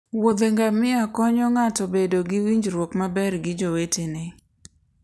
wuothe ngamia konyo ng'ato bedo gi winjruok maber gi jowetene.